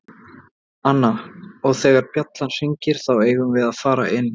Anna: Og þegar bjallan hringir þá eigum við að fara inn.